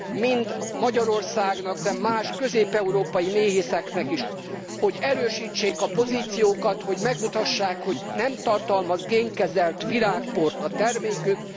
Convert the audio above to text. Mind Magyarországnak, de más közép európai méhészeknek is az az érdeke, hogy erősítsék a pozíciókat, hogy megmutassák, hogy nem tartalmaz génkezelt virágport a termékük.